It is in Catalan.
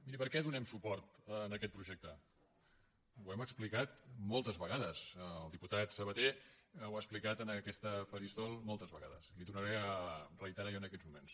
miri per què donem suport a aquest projecte ho hem explicat moltes vegades el diputat sabaté ho ha expli·cat en aquest faristol moltes vegades li ho tornaré a reiterar jo en aquests moments